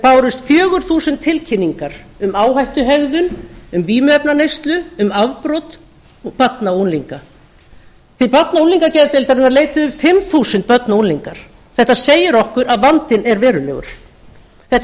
bárust fjögur þúsund tilkynningar um áhættuhegðun um vímuefnaneyslu um afbrot barna og unglinga til barna og unglingageðdeildarinnar leituðu fimm þúsund börn og unglingar þetta segir okkur að vandinn er verulegur þetta er